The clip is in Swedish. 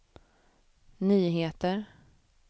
nyheter